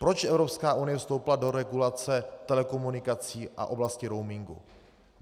Proč Evropská unie vstoupila do regulace telekomunikací a oblasti roamingu?